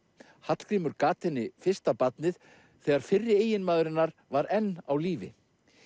Hallgrímur gat henni fyrsta barnið þegar fyrri eiginmaður hennar var enn á lífi